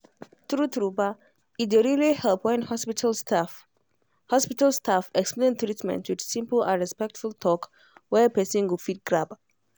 true-true ba e dey really help when hospital staff hospital staff explain treatment with simple and respectful talk wey person go fit grab.